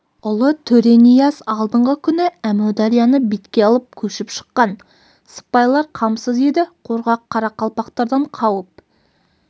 ұлы төренияз алдыңғы күні әмударияны бетке алып көшіп шыққан сыпайлар қамсыз еді қорқақ қарақалпақтардан қауіп